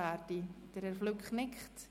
Herr Flück nickt.